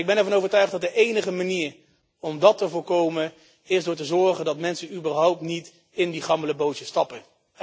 Ik ben er van overtuigd dat de enige manier om dat te voorkomen is ervoor te zorgen dat mensen überhaupt niet in die gammele bootjes stappen.